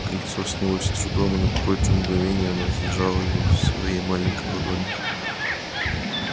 кольцо снялось с трудом и на какое-то мгновение она зажала его в своей маленькой ладони